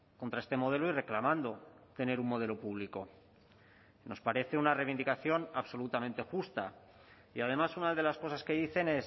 contra este modelo y reclamando tener un modelo público nos parece una reivindicación absolutamente justa y además una de las cosas que dicen